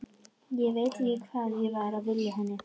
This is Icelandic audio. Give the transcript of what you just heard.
Ég veit ekki hvað ég var að vilja henni.